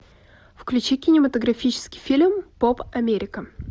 включи кинематографический фильм поп америка